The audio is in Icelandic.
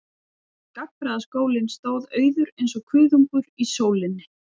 Gagnfræðaskólinn stóð auður eins og kuðungur í sólinni.